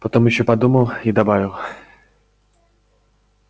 потом ещё подумал и добавил